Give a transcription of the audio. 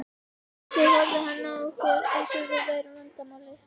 Svo horfði hann á okkur eins og við værum vandamálið.